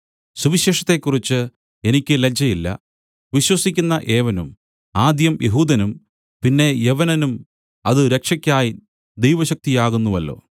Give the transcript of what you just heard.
സുവിശേഷത്തെക്കുറിച്ചു എനിക്ക് ലജ്ജയില്ല വിശ്വസിക്കുന്ന ഏവനും ആദ്യം യെഹൂദനും പിന്നെ യവനനും അത് രക്ഷക്കായി ദൈവശക്തിയാകുന്നുവല്ലോ